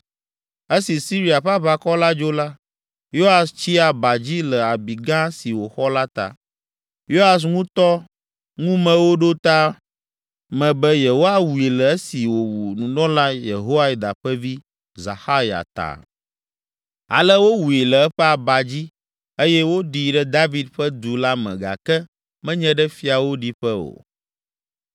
Esi Siria ƒe aʋakɔ la dzo la, Yoas tsi aba dzi le abi gã si wòxɔ la ta. Yoas ŋutɔ ŋumewo ɖo ta me be yewoawui le esi wòwu nunɔla Yehoiada ƒe vi, Zaxarya ta. Ale wowui le eƒe aba dzi eye woɖii ɖe David Ƒe Du la me gake menye ɖe fiawo ɖiƒe o.